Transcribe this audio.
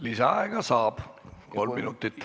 Lisaaega saab, kolm minutit.